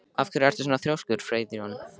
Af hverju ertu svona þrjóskur, Freyþór?